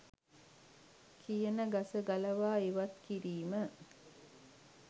කියන ගස ගලවා ඉවත් කිරීම